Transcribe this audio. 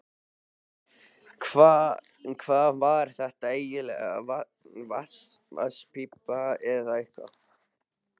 Hvað var þetta eiginlega, vatnspípa eða eitthvað?